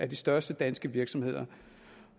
de største danske virksomheder